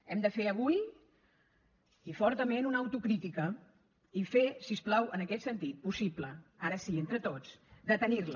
hem de fer avui i fortament una autocrítica i fer si us plau en aquest sentit possible ara sí entre tots de tenir la